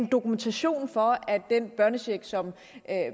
dokumentation for at den børnecheck som